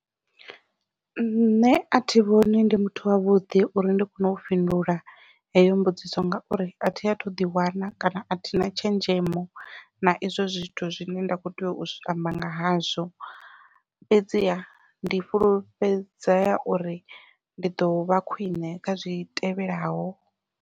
Nṋe athi vhoni ndi muthu wavhuḓi uri ndi kone u fhindula heyo mbudziso ngauri athi athu ḓi wana kana athina tshenzhemo na izwo zwithu zwine nda kho tea u amba nga hazwo fhedziha ndi fhulufhedzea uri ndi ḓovha khwiṋe kha zwitevhelaho.